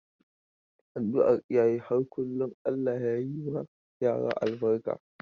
Adduar iyaye har kullum Allah ya yi ma yara albarka.